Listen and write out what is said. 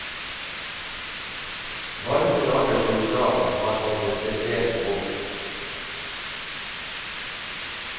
Varme dager som i dag, har han det spesielt vondt.